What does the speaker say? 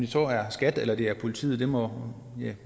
så er skat eller det er politiet må